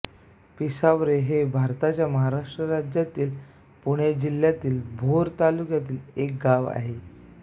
पिसावरे हे भारताच्या महाराष्ट्र राज्यातील पुणे जिल्ह्यातील भोर तालुक्यातील एक गाव आहे